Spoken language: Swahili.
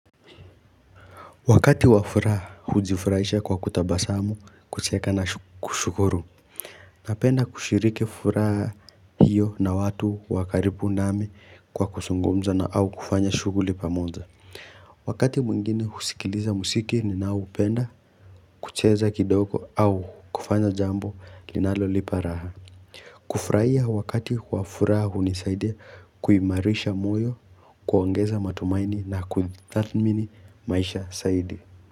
Wakati wafuraha hujifurahisha kwa kutabasamu, kucheka na kushukuru. Napenda kushiriki furaha hiyo na watu wakaribu nami kwa kuzungumza na au kufanya shughuli pamoja. Wakati mwingine husikiliza mziki ninaoupenda kucheza kidogo au kufanya jambo linalolipa raha. Kufurahia wakati wafuraha hunisaidia kuimarisha moyo, kuongeza matumaini na kuthamini maisha zaidi.